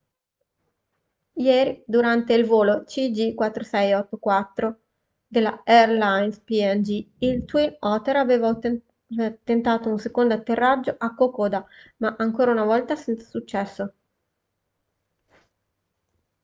ieri durante il volo cg4684 della airlines png il twin otter aveva tentato un secondo atterraggio a kokoda ma ancora una volta senza successo